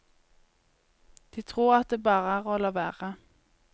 De tror at det bare er å la være.